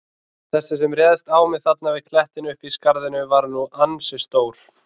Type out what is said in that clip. Þessi sem réðst á mig þarna við klettinn uppi í skarðinu var nú ansi stór.